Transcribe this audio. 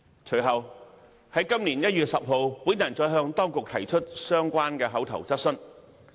隨後在今年1月10日，我再向當局提出相關的口頭質詢。